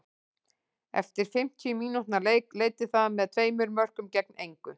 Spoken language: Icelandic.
Eftir fimmtíu mínútna leik leiddi það með tveimur mörkum gegn engu.